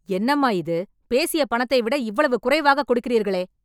என்னம்மா இது! பேசிய பணத்தை விட இவ்வளவு குறைவாக கொடுக்கிறீர்களே